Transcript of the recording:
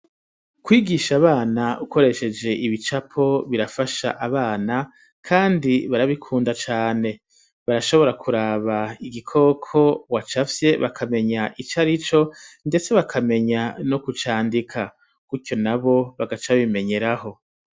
Kwigisha abana ukoresheje ibicapo birafasha abana, kandi barabikunda cane barashobora kuraba igikoko wacafye bakamenya ico arico ndetse bakamenya no kucandika kuco nabo bagaca babimenyeraho.